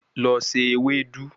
Lọ se ewedu